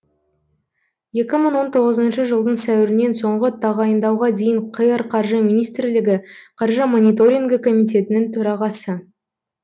екі мың он тоғызыншы жылдың сәуірінен соңғы тағайындауға дейін қр қаржы министрлігі қаржы мониторингі комитетінің төрағасы